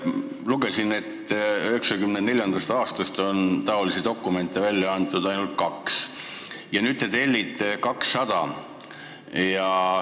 Lugesin, et 1994. aastast on selliseid dokumente välja antud ainult kaks ja nüüd te tellite neid 200.